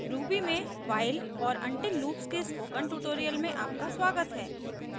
ruby में while और until loops के स्पोकन ट्यूटोरियल में आपका स्वागत है